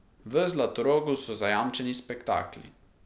V Zlatorogu so zajamčeni spektakli.